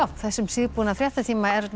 þessum síðbúna fréttatíma er